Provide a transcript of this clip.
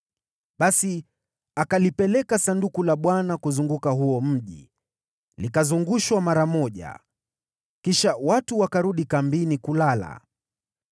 Basi akalipeleka Sanduku la Bwana kuzungushwa huo mji, likizungushwa mara moja. Kisha watu wakarudi kambini kulala.